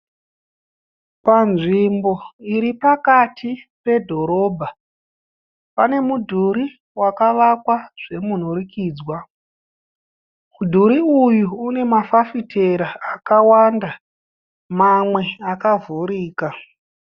Panzvimbo iri pakati pedhorobha pane mudhuri wakavakwa zvemunhurikidzwa. Mudhuri uyu une mafafitera akawanda mamwe akavhurika.